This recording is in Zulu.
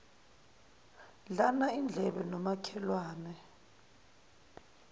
dlana indlebe nomakhelwane